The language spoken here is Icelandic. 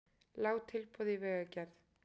Lág tilboð í vegagerð